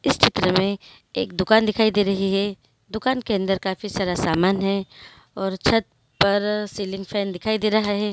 इस चित्र मे एक दुकान दिखाई दे रही है दुकान के अंदर काफी सारा सामान है और छत पर सीलिंग फॅन दिखाई दे रहा है।